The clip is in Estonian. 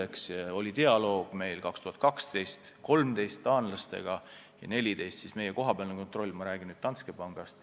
Me pidasime aastail 2012 ja 2013 taanlastega dialoogi ja 2014 oli meie kohapealne kontroll – ma räägin nüüd Danske pangast.